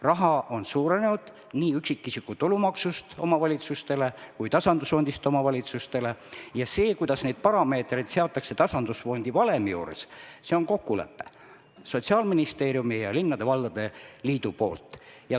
Omavalitsuste summad on suurenenud nii tänu üksikisiku tulumaksu kasvule kui ka tasandusfondi rahale ja kuidas neid parameetreid tasandusfondi valemis seatakse, on Sotsiaalministeeriumi ja linnade-valdade liidu kokkulepe.